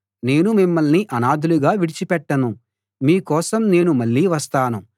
నేను మిమ్మల్ని అనాథలుగా విడిచిపెట్టను మీకోసం నేను మళ్ళీ వస్తాను